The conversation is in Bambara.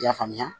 I y'a faamuya